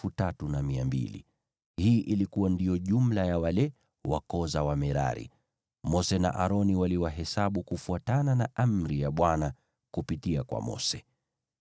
Hii ilikuwa ndiyo jumla ya wale wa koo za Wamerari. Mose na Aroni waliwahesabu kufuatia amri ya Bwana kupitia kwa Mose.